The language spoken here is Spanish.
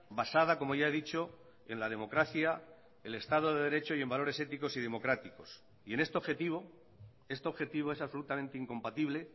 basada como ya he dicho en la democracia el estado de derecho y en valores éticos y democráticos y en este objetivo este objetivo es absolutamente incompatible